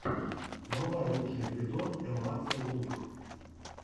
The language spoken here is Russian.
врубай лучший эпизод элмаксэл лук